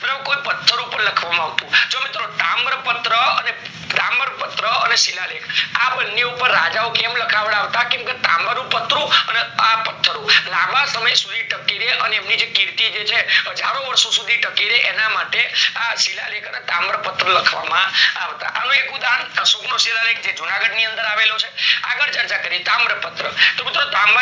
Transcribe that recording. ના પત્થરો લાંબા સમય સુધી ટકી રે અને એમની જે કીર્તિ જે છે હજારો વર્ષો શુધી ટકી રે એના માટે આ શિલાલેખ ને તામ્રપત્ર લખવા માં આવતા હવે એક ઉદાહરણ સુમ્ર શિલાલેખ જે જુનાગઢ ની અંદર આવેલો છે આગળ ચર્ચા કરીએ તામ્રપત્ર તો